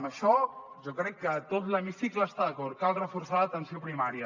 en això jo crec que tot l’hemicicle hi està d’acord cal reforçar l’atenció primària